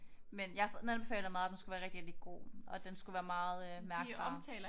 Men jeg har fået den anbefalet meget og den skulle være rigtig rigtig god. Og den skulle være meget mærkbar